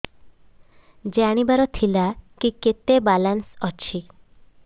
ଜାଣିବାର ଥିଲା କି କେତେ ବାଲାନ୍ସ ଅଛି